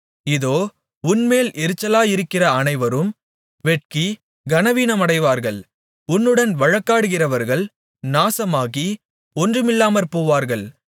இதோ உன்மேல் எரிச்சலாயிருக்கிற அனைவரும் வெட்கி கனவீனமடைவார்கள் உன்னுடன் வழக்காடுகிறவர்கள் நாசமாகி ஒன்றுமில்லாமற்போவார்கள்